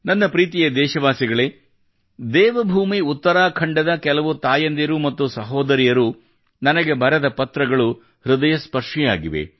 ನನ್ನ ಪ್ರೀತಿಯ ದೇಶವಾಸಿಗಳೇ ದೇವಭೂಮಿ ಉತ್ತರಾಖಂಡದ ಕೆಲವು ತಾಯಂದಿರು ಮತ್ತು ಸಹೋದರಿಯರು ನನಗೆ ಬರೆದ ಪತ್ರಗಳು ಹೃದಯಸ್ಪರ್ಶಿಯಾಗಿವೆ